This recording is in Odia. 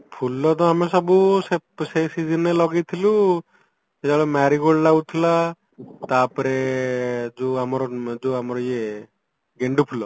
ଫୁଲ ତ ଆମେ ସବୁ ସେ ସେଇ seasonରେ ଲଗେଇଥିଲୁ ସେତେବେଳେ marigold ଲାଗୁଥିଲା ତା ପରେ ଯୋଉ ଆମର ଯୋଉ ଆମର ଇଏ ଗେଣ୍ଡୁ ଫୁଲ